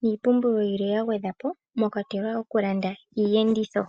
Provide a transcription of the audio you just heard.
niipumbiwa yilwe yagwedhwapo mokwatelwa okulanda iiyenditho.